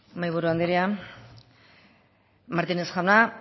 mahaiburu andrea martínez jauna